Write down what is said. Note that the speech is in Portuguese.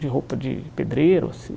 De roupa de pedreiro, assim.